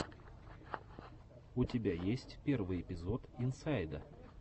у тебя есть первый эпизод инсайда